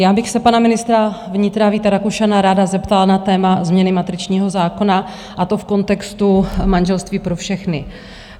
Já bych se pana ministra vnitra Víta Rakušana ráda zeptala na téma změny matričního zákona, a to v kontextu manželství pro všechny.